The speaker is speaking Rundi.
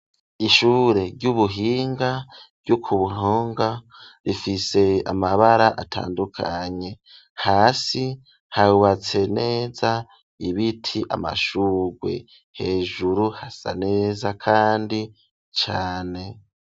Ishure ry'ubuhinga ryo kumponga rifise amabara atandukanye hasi habatse neza ibiti amashuwe hejuru hasa neza kandi cane.